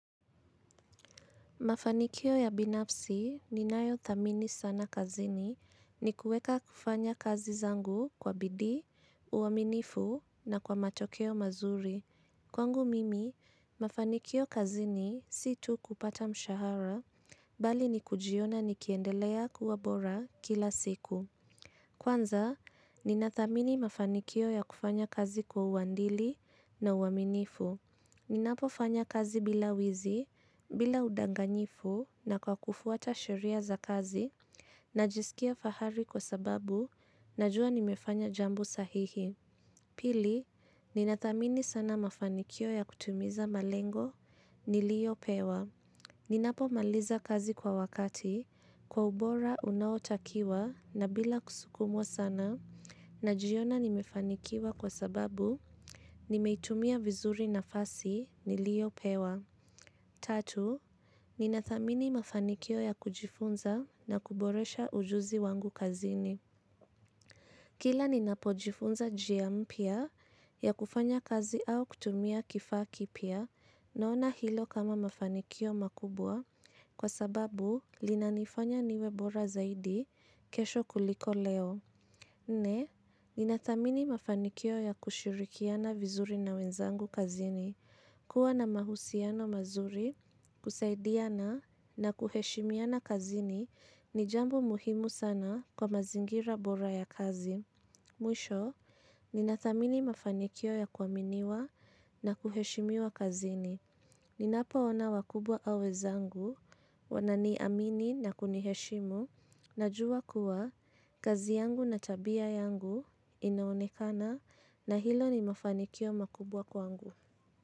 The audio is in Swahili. Mafanikio ya binafsi ninayo thamini sana kazini ni kuweka kufanya kazi zangu kwa bidii, uaminifu na kwa matokeo mazuri. Kwangu mimi, mafanikio kazini si tu kupata mshahara, bali ni kujiona nikiendelea kuwa bora kila siku. Kwanza, nina thamini mafanikio ya kufanya kazi kwa uadili na uaminifu. Ninapofanya kazi bila wizi, bila udanganyifu na kwa kufuata sheria za kazi, najisikia fahari kwa sababu, najua nimefanya jambo sahihi. Pili, ninathamini sana mafanikio ya kutimiza malengo, niliopewa. Ninapomaliza kazi kwa wakati, kwa ubora unaotakiwa na bila kusukumwa sana najiona nimefanikiwa kwa sababu nimeitumia vizuri nafasi niliopewa. Tatu, ninathamini mafanikio ya kujifunza na kuboresha ujuzi wangu kazini. Kila ninapojifunza njia mpya ya kufanya kazi au kutumia kifaa kipya naona hilo kama mafanikio makubwa kwa sababu linanifanya niwe bora zaidi kesho kuliko leo. Nne, ninathamini mafanikio ya kushirikiana vizuri na wenzangu kazini. Kuwa na mahusiano mazuri, kusaidiana na kuheshimiana kazini ni jambo muhimu sana kwa mazingira bora ya kazi. Mwisho, ninathamini mafanikio ya kuaminiwa na kuheshimiwa kazini. Ninapoona wakubwa au wenzangu, wananiamini na kuniheshimu, najua kuwa, kazi yangu na tabia yangu inaonekana na hilo ni mafanikio makubwa kwangu.